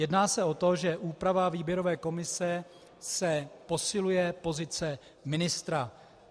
Jedná se o to, že úprava výběrové komise se posiluje pozice ministra.